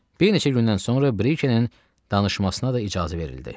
Bir neçə gündən sonra Brikenin danışmasına da icazə verildi.